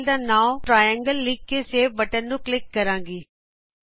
ਮੈ ਫਾਇਲ ਦਾ ਨਾਂਉ ਟ੍ਰਾਈਐਂਗਲ ਲਿਖ ਕੇ ਸੇਵ ਬਟਨ ਨੂੰ ਕਲਿੱਕ ਕਰਾਂਗੀ